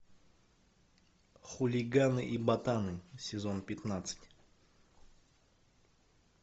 хулиганы и ботаны сезон пятнадцать